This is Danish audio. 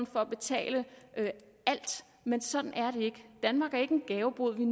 for at betale alt men sådan er det ikke danmark er ikke en gavebod vi